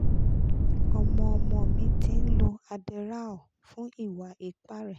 ọmọ ọmọ mi ti ń lo adderall fún ìwà ipá rẹ̀